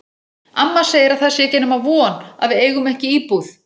Amma segir að það sé ekki nema von að við eigum ekki íbúð.